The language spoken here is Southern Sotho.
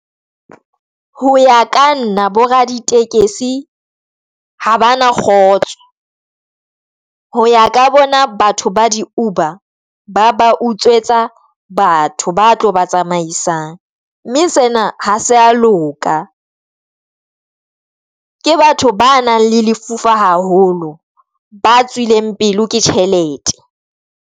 Ho ya ka nna bo raditekesi ha bana kgotso, ho ya ka bona batho ba di Uber ba ba utswetsa batho ba tlo ba tsamaisang mme sena ha se a loka. Ke batho ba nang le lefufa haholo, ba tswileng pele ke tjhelete.